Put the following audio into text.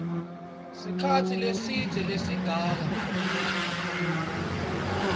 sikhatsi lesidze lesingaba